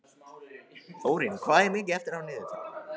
Þórinn, hvað er mikið eftir af niðurteljaranum?